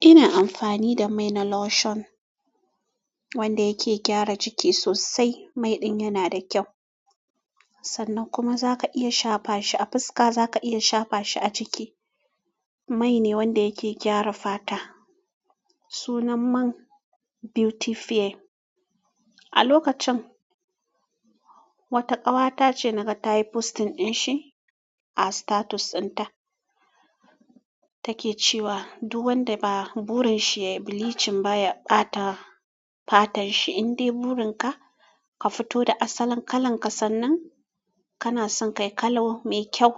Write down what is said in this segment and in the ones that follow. Ina amfani da mai na lotion wanda yake gyara jiki sosai. Mai ɗin yana da kyau, sannan kuma zaka iya shafa shi a fuska, zaka iya shafa shi a jiki. Mai ne wanda yake gyara fata. Sunan man Beauty Fare. A lokacin, wata ƙawata ce naka ta yi posting ɗin shi a status ɗin ta. Ta ke cewa duk wanda ba burin shi ya yi bleaching baya ɓata fatan shi. In dai burin ka, ka fito da asalin kalan ka sannan kana son kai kalo mai kyau,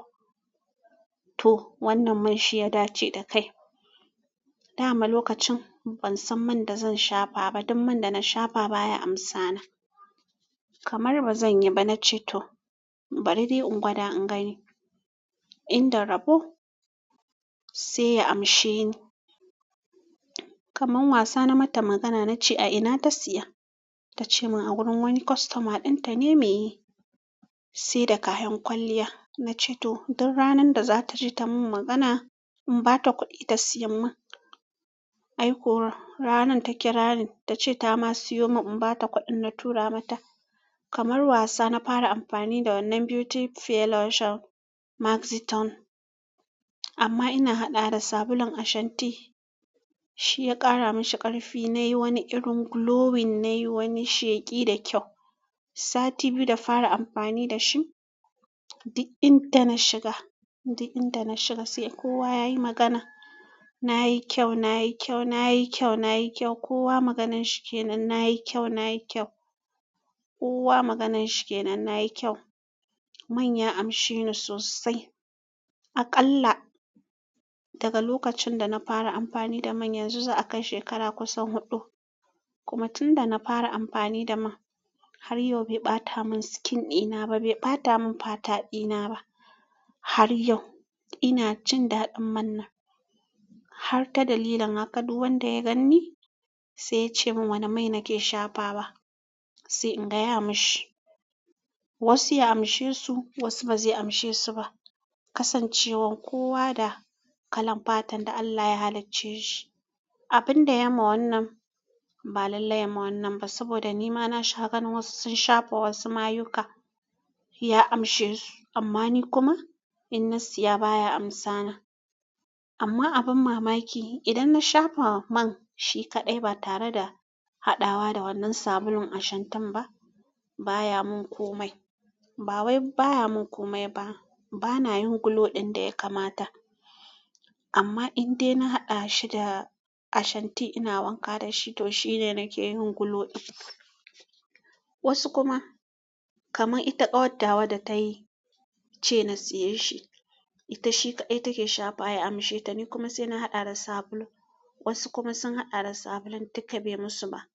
to wannan man shi ya dace da kai. Da ma lokacin ban san man da zan shafa ba, duk man da na shafa baya amsana. Kamar bazan yi ba, na ce to bari dai in gwada in gani in da rabo sai ya amshe ni. Kaman wasa na mata magana na ce a ina ta siya. Ta ce min a wurin wani kostoma ɗin ta ne mai yi, sai da kayan kwalliya. Na ce to. Duk ranan da za ta ji ta min magana in ba ta kuɗi ta siya min. Ai ko ranan take ranin ta ce ta ma siyo min in ba ta kuɗin na tura mata. Kamar wasa na fara amfani da wannan Beauty Fare lotion maxitown. Amma ina haɗa da sabulun Ashanti. Shi ya ƙara mashi ƙarfi, nayi wani irin glowing, nayi wani sheƙi da kyau. Sati biyu da fara amfani da shi, duk inda na shiga sai kowa yayi magana. Nayi kyaunayi kyaunayi kyaunayi kyau. Kowa maganan shi ke nan, na yi kyau, na yi kyau. Kowa maganan shi ke nan, na yi kyau. Man ya amshe ni sosai. Aƙalla daga lokacin da na fara amfani da man, yanzu za a kai shekara kusan huɗu. Kuma tunda na fara amfani da man har yau bai ɓata mun skin ina ba, bai ɓata mun fata ɗina ba. Har yau ina jin daɗin man nan. Har ta dalilin haka duk wanda ya ganni sai ya ce min wane mai nake shafa wa sai in gaya mashi. Wasu ya amshe su, wasu ba zai amshe su ba. Kasancewan kowa da kalan fatan da Allah ya halacce shi. Abin da ya ma wannan ba lallai ya ma wannan ba. Saboda ni ma na sha gan wasu sun shafa wasu mayuka ya amshe su. Amma ni kuma in na siya baya amsana. Amma abin mamaki idan na shafa man shi kaɗai ba tare da haɗawa da wannan sabulun Ashanti ba, baya mun komai. Ba wai baya mun komai ba, bana yin glow ɗin da ya kamata. Amma in dai na haɗa shi da Ashanti ina wanka da shi, to shi ne nake yin glow ɗin. Wasu kuma kaman ita ƙawattawa da ta yi ce na siyan shi, ita shi kaɗai take shafa ya amshe ta. Ni kuma sai na haɗa da sabulu. Wasu kuma sun haɗa da sabulun duk bai musu ba.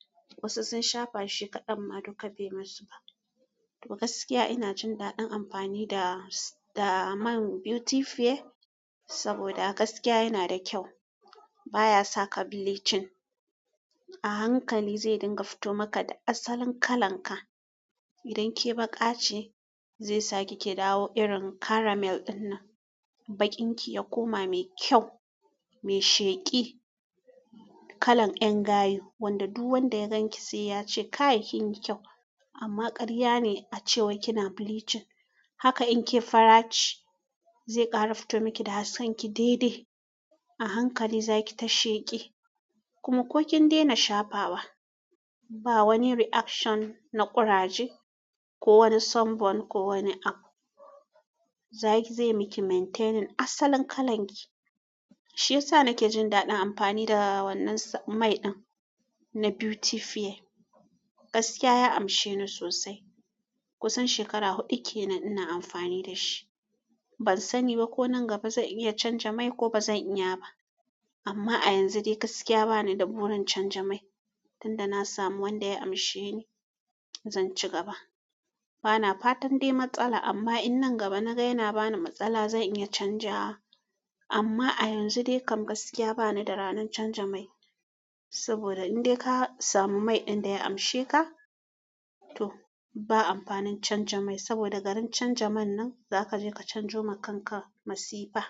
Wasu sun shafa shi kaɗan ma duk bai musu ba. To gaskiya ina jin daɗin amfani da-da man Beauty Fare saboda gaskiya yana da kyau. Ba ya saka bleaching. A hankali zai dinga fito maka da asalin kalan ka. Idan ke baƙa ce zai sa ke ki dawo irin caramel ɗin nan. Baƙin ki ya koma mai kyau, mai sheƙi, kalan ƴan gayu. Wanda duk wanda ya gan ki sai ya ce ka yi kin yi kyau amma ƙarya ne a cewa kina bleaching. Haka in ke fara ce zai ƙara fito miki da hasken ki dai-dai. A hankali za ki ta sheƙi kuma ko kin daina shafawa, ba wani reaction na ƙuraje ko wani sunburn ko wani ak. Zaki-zai miki maintaining asalin kalan ki. Shi yasa na ke jin daɗin amfani da wannan mai ɗin na Beauty Fare. Gaskiya ya amshe ni sosai. Kusan shekara huɗu ke nan ina amfani da shi. Ban sani ba ko nan gaba zan iya canza mai ko bazan iya ba. Amma a yanzu dai gaskiya bani da burin canza mai. Tunda na samu wanda ya amshe ni zan ci gaba. Bana fatan dai matsala amma in nan gaba na ga yana bani matsala zan iya canza wa. Amma a yanzu dai kam gaskiya bani da ranan canza mai. Saboda in dai ka samu mai ɗin da ya amshe ka, to ba amfanin canza mai. Saboda garin canza man nan za kaje ka canzo ma kanka masifa.